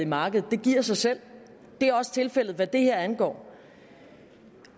markedet det giver sig selv det er også tilfældet hvad det her angår